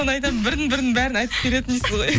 соны айтам бірін бірін бәрін айтып береді дейсіз ғой